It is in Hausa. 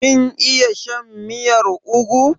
Kin iya shan miyar ugwu?